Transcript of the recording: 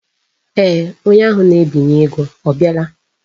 Eeh, onye ahụ na-ebinye ego abiala.